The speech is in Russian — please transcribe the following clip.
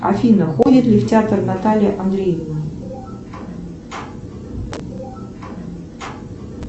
афина ходит ли в театр наталья андреевна